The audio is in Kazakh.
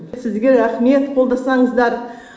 сізге рахмет қолдасаңыздар